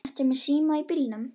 Ertu með síma í bílnum?